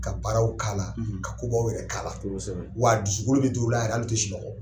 Ka baaraw k'a la ka ko baw yɛrɛ k'a la wa dusukolo bɛ dɔw la yɛrɛ hali u tɛ sunɔgɔ.